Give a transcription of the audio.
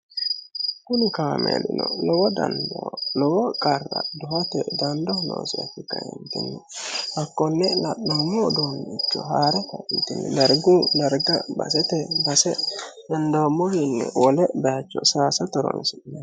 kuni kaameelino lowo danido lowo qarra duhote dandoho noosiha ikke kaenitinni hakkonne la'noommo udoonnicho haa'ra kaenitinni dargu darga baseteni base henidommowiinni wole baayicho saayisate horonsinemo